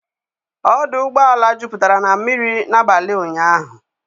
Ọdụ ụgbọala juputara na mmiri n'abalị ụnyahụ.